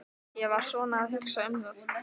Ég var svona að hugsa um það.